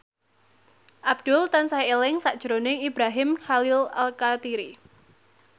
Abdul tansah eling sakjroning Ibrahim Khalil Alkatiri